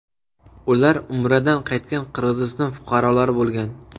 Ular Umradan qaytgan Qirg‘iziston fuqarolari bo‘lgan.